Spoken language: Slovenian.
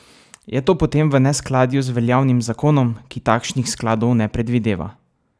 Je to potem v neskladju z veljavnim zakonom, ki takšnih skladov ne predvideva?